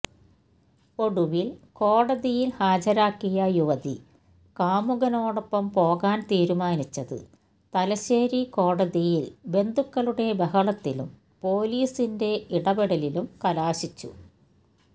ഒടുവിൽ കോടതിയിൽ ഹാജരാക്കിയ യുവതി കാമുകനോടൊപ്പം പോകാൻ തീരുമാനിച്ചത് തലശ്ശേരി കോടതിയിൽ ബന്ധുക്കളുടെ ബഹളത്തിലും പൊലീസിന്റെ ഇടപെടലിലും കലാശിച്ചു